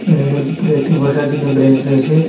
এখানের ভিতরে একটি বসার জন্য ব্রেঞ্জ রয়েছে।